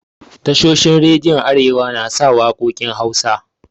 Tashoshin rediyon arewa na sa waƙokin Hausa.